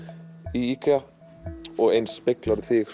í IKEA og eins